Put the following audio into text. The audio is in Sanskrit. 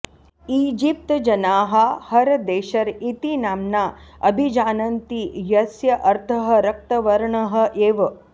ईजिप्त् जनाः हर् देशर् इति नाम्ना अभिजानन्ति यस्य अर्थः रक्तवर्णः एव